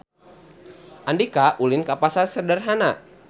Andika ulin ka Pasar Sederhana